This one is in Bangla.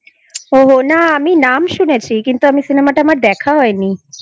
ও না আমি নাম শুনেছি কিন্তু Cinema টা আমার দেখা হয় নি।